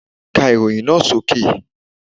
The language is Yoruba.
Ka ìròyìn náà sókè